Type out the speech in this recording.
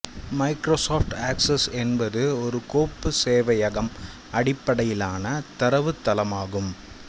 Microsoft Access என்பது ஒரு கோப்பு சேவையகம்அடிப்படையிலான தரவுத்தளம் ஆகும்